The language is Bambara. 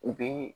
U bɛ